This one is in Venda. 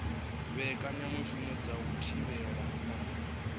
mbekanyamushumo dza u thivhela na